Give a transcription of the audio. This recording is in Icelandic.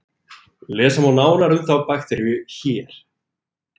Lesa má nánar um þá bakteríu hér.